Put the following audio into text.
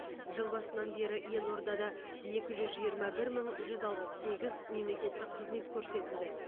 жыл басынан бері елордада екі жүз жиырма бір мың жүз алпыс сегіз мемлекеттік қызмет көрсетілді